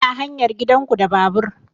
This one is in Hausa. Ina hanyar gidan ku da babur